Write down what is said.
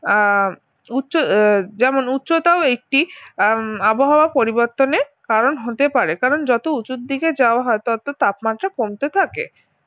আহ উচ্চ যেমন উচ্চতাও একটি আহ আবহাওয়া পরিবর্তনের কারণ হতে পারে কারণ যত উঁচুর দিকে যাওয়া হয় তত তাপমাত্রা কমতে থাকে